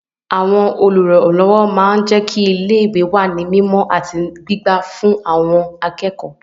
Àwọn Olùrànlọ́wọ́ máa ń jẹ́kí ilé wà ní mímọ àti wà ní pípa ọ́ fún àwọn akẹ́kọ̀ọ́